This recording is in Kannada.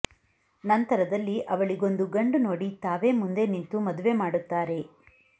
ನಂತರದಲ್ಲಿ ಅವಳಿಗೊಂದು ಗಂಡು ನೋಡಿ ತಾವೇ ಮುಂದೆ ನಿಂತು ಮದುವೆ ಮಾಡುತ್ತಾರೆ